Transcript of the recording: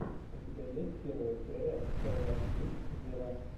у тебя есть первая серия тейлор свифт вево